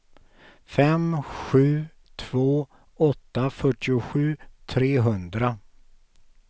fem sju två åtta fyrtiosju trehundra